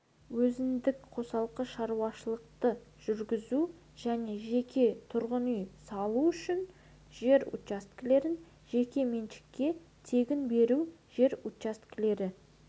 өзіндік қосалқы шаруашылықты жүргізу және жеке тұрғын үй салу үшін жер учаскелерін жеке меншікке тегін беру жер учаскелері